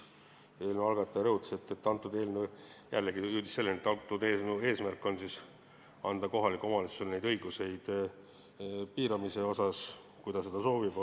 Eelnõu algataja jõudis selleni, et eelnõu eesmärk on anda kohalikule omavalitsusele lisaõigusi müügi piiramisel, kui ta seda teha soovib.